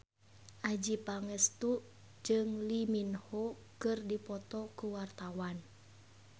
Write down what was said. Adjie Pangestu jeung Lee Min Ho keur dipoto ku wartawan